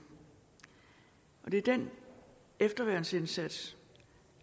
det er den efterværnsindsats